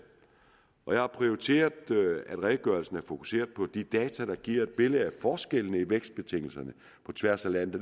og jeg har prioriteret at redegørelsen er fokuseret på de data der giver et billede af forskellene i vækstbetingelserne på tværs af landet